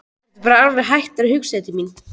Ertu bara alveg hættur að hugsa til mín?